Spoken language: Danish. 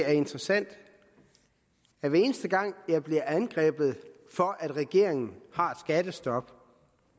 er interessant at hver eneste gang jeg bliver angrebet for at regeringen har et skattestop